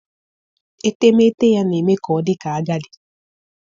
etemeete ya na-eme ka ọ dị ka agadi.